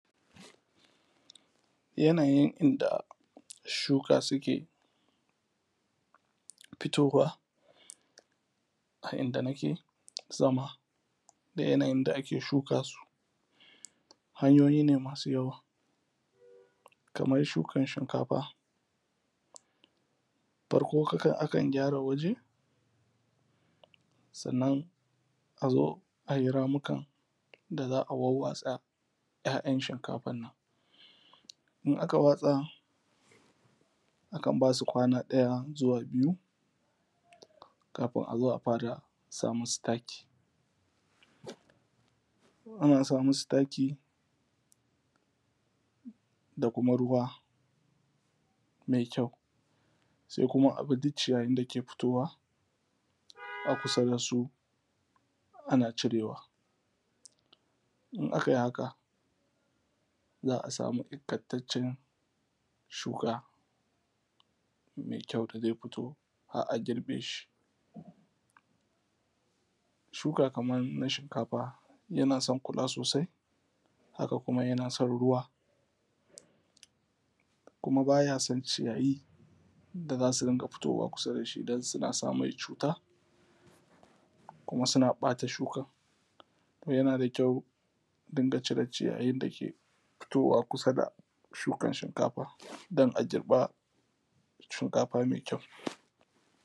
Yanayin inda shuka suke fitowa a inda nake zama da yanayin da ake shuka su. Hanyoyi ne masu yawa, kamar shukan shinkafa. Farko kakan a kan gyara waje, sannan a zo: ai ramukan da za a wawwatsa ‘ya’yan shinkafan nan in aka watsa a kan ba su kwana ɗaya zuwa biyu, kafin a zo a fara sa musu taki. Ana sa masu taki da kuma ruwa mai yau, sai kuma a bi duk ciyayin da ke fitowa a kusa da su ana cirewa. In a kai haka za a samu ingantaccen shuka, mai kyau da zai fito har a girbe. Shuka kaman na shinkafa yana san kula sosai, haka kuma yana san ruwa, kuma ba ya san ciyayi da za su dinga fitowa kusa da shi, don suna sa mai cuta. Kuma suna ɓata shukan. Yana da kyau a dinga cire ciyayin da ke fitowa: kusa da shukan shinkafa dan a girba shinkafa mai kyau.